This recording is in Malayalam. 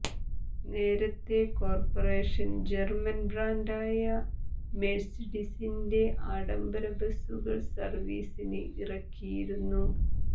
നേരത്തെ കോർപറേഷൻ ജർമൻ ബ്രാൻഡായ മെഴ്സീഡിസിന്റെ ആഡംബര ബസ്സുകൾ സർവീസിന് ഇറക്കിയിരുന്നു